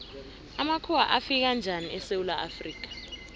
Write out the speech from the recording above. amakhuwa afika njani esewula afrika